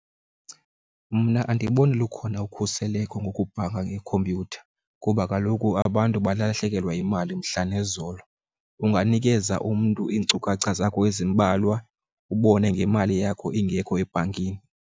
Mna andiyiboni lukhona ukhuseleko ngokubhanka ngekhompyutha kuba kaloku abantu balahlekelwe yimali mhla nezolo. Unganikeza umntu iinkcukacha zakho ezimbalwa ubone ngemali yakho ingekho ebhankini.